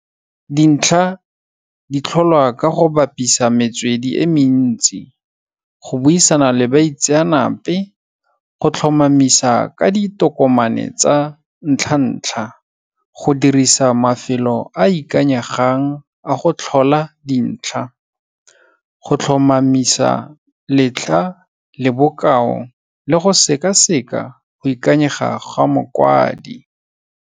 Dintlha ditlholwa ka go bapisa metswedi e mentsi, go buisana le baitsenape, go tlhomamisa ka ditokomane tsa ntlha ntlha, go dirisa mafelo a ikanyegang a go tlhola dintlha, go tlhomamisa letlha le bokao le go sekaseka go ikanyega gwa mokwadi.